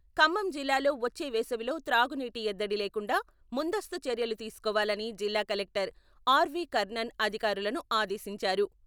ఖమ్మం జిల్లాలో వచ్చే వేసవిలో త్రాగునీటి ఎద్దడి లేకుండా ముందస్తూ చర్యలు తీసుకోవాలని జిల్లా కలెక్టర్ ఆర్వి.కర్ణన్ అధికారులను ఆదేశించారు.